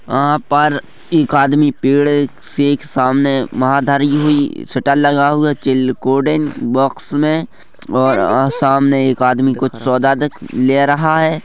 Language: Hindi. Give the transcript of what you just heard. यहाँ पर एक आदमी पेड़ है के सामने वहाँ धरी हुई शटल लगा हुआ है चिल्कोडेन बॉक्स में और अ सामने एक आदमी कुछ सौदा दे ले रहा हैं।